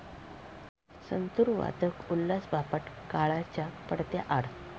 संतुर वादक उल्हास बापट काळाच्या पडद्याआड